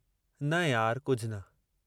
न यार, कुझु न